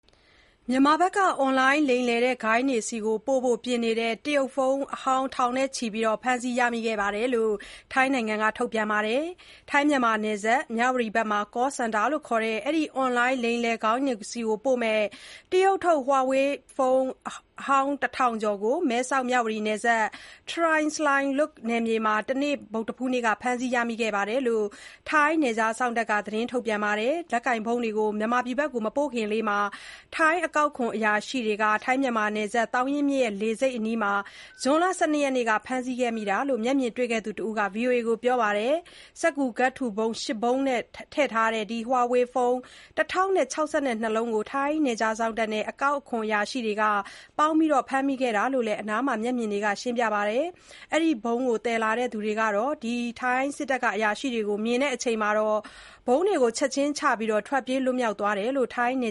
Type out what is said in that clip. မြန်မာဘက်က အွန်လိုင်းလိမ်လည်ဂိုဏ်းတွေကို ပို့ဖို့ပြင်နေတဲ့ တရုတ်ဖုန်းအဟောင်း ထောင်ကျော်ဖမ်းမိခဲ့တယ်လို့ ထိုင်းဘက်က ပြောလိုက်ပါတယ်။ ထိုင်းမြန်မာနယ်စပ် မြဝတီဘက်က ကောစင်တာလို့ခေါ်တဲ့ ဒီအွန်လိုင်းလိမ်လည်ဂိုဏ်းတွေကိုပို့မယ့် တရုတ်ထုတ် ဟွာဝေး (Huawei) ဖုန်း အဟောင်း ၁၀၀၀ ကျော်ကို မဲဆောက်-မြဝတီနယ်စပ် ထစိုင်လွတ်နယ်မြေမှာ တနေ့ ဗုဒ္ဓဟူးနေ့ကဖမ်းမိခဲ့တယ်လို့ ထိုင်းနယ်ခြားစောင့်တပ်က သတင်းပြန်ခဲ့ပါတယ်။ လက်ကိုင်ဖုန်းတွေကို မြန်မာဖက်ကို မပို့ခင်လေး ထိုင်းအကောက်ခွန်အရာရှိတွေက Tha Sai Luat (ထစိုင်လွတ်ဝပ်) နယ်စပ်ဒေသ၊ သောင်ရင်းမြစ်လှေဆိပ်အနီး ဇွန်လ ၁၂ ရက်နေ့က အခုလို ဖမ်းမိခဲ့တာလို့ မျက်မြင်တွေ့ခဲ့သူတစ်ဦးက ဗွီအိုအေကို ပြောပါတယ်။ စက္ကူကပ်ထူပုံး ၈ ပုံးထားမှာထည့်ထားတဲ့ ဒီဟွာဝေးဖုန်း ၁၀၆၂ လုံးကို နယ်ခြားစောင့်တပ်နဲ့ အကောက်အခွန်အရာရှိတွေပေါင်းပြီး ဖမ်းမိခဲ့တာလို့လည်း အနားမှာရှိခဲ့တဲ့ မျက်မြင်တွေက ရှင်းပြခဲ့ပါတယ်။ ဒီပုံးတွေကို သယ်ဆောင်လာခဲ့သူတွေကတော့ ထိုင်းစစ်တပ်အရာရှိတွေကို မြင်တဲ့အချိန်၊ ပုံးတွေကို ချက်ချင်းချပြီး ထွက်ပြေးသွားကြတယ်လို့လည်း ထိုင်းန